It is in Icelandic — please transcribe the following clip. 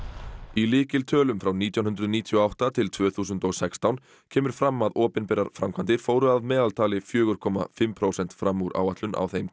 í lykiltölum frá nítján hundruð níutíu og átta til tvö þúsund og sextán kemur fram að opinberar framkvæmdir fóru að meðaltali fjögur komma fimm prósent fram úr áætlun á þeim